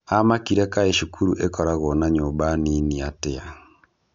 Amakire kaĩ cukuru ĩkoragwo na nyumba nini atĩa?